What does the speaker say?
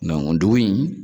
dugu in